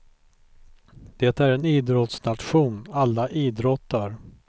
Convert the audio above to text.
Det är en idrottsnation, alla idrottar.